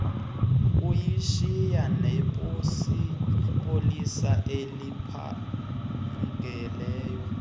kuyishiya nepolisa eliphangeleyo